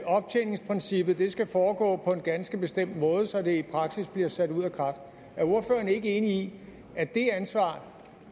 optjeningsprincippet skal foregå på en ganske bestemt måde så det i praksis bliver sat ud af kraft er ordføreren ikke enig i at det ansvar